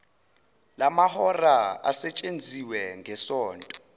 lamahora asetshenziwe ngesonto